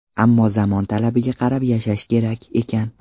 Ammo zamon talabiga qarab yashash kerak ekan”.